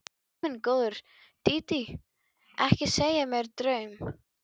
Guð minn góður, Dídí, ekki segja mér draum.